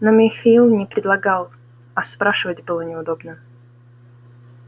но михаил не предлагал а спрашивать было неудобно